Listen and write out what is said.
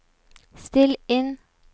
still inn